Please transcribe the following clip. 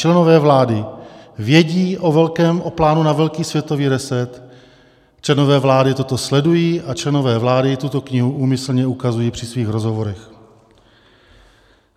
Členové vlády vědí o plánu na velký světový reset, členové vlády toto sledují a členové vlády tuto knihu úmyslně ukazují při svých rozhovorech.